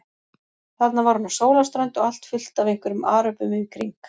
Þarna var hún á sólarströnd og allt fullt af einhverjum aröbum í kring.